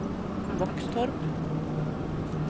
Våxtorp